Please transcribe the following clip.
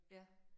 Ja